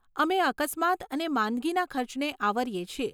અમે અકસ્માત અને માંદગીના ખર્ચને આવરીએ છીએ.